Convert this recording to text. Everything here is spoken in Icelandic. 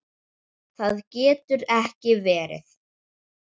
Það getur ekki verið